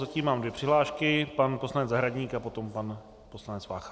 Zatím mám dvě přihlášky, pan poslanec Zahradník a potom pan poslanec Vácha.